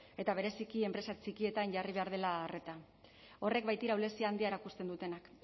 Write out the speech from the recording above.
eta bereziki enpresa txikietan jarri behar dela arreta horrek baitira ahulezia handia erakusten dutenak